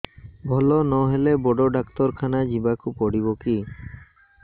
ଭଲ ନହେଲେ ବଡ ଡାକ୍ତର ଖାନା ଯିବା କୁ ପଡିବକି